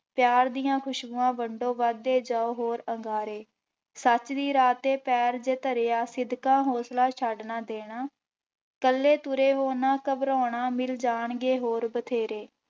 ਪਿਆਰ ਦੀਆਂ ਖ਼ੁਸ਼ਬੂਆਂ ਵੰਡੋ ਵੱਧਦੇ ਜਾਓ ਹੋਰ ਅੰਗਾਰੇ, ਸੱਚ ਦੀ ਰਾਹ ਤੇ ਪੈਰ ਜੇ ਧਰਿਆ ਸਿਦਕਾਂ ਹੌਸਲਾ ਛੱਡ ਨਾ ਦੇਣਾ, ਇਕੱਲੇ ਤੁਰੇ ਹੋ ਨਾ ਘਬਰਾਉਣਾ ਮਿਲ ਜਾਣਗੇ ਹੋਰ ਬਥੇਰੇ।